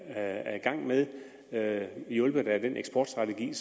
er i gang med med hjulpet af den eksportstrategi